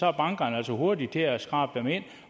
er bankerne altså hurtige til at skrabe dem ind